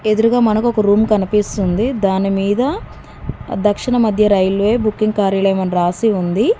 ఎదురుగా మనకు ఒక రూమ్ కనిపిస్తుంది దానిమీద దక్షిణ మధ్య రైల్వే బుకింగ్ కార్యాలయం అని రాసి ఉంది.